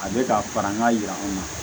A bɛ ka fara n ka yiraw kan